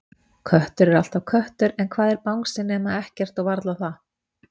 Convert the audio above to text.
Köttur er alltaf köttur en hvað er bangsi nema ekkert og varla það.